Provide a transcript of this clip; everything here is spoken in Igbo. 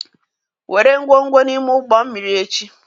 Were ngwongwo n'ime ụgbọ mmiri echi